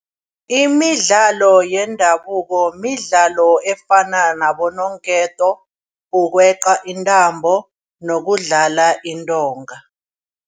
Imidlalo yendabuko midlalo efana nabononketo, ukweqa intambo nokudlala intonga.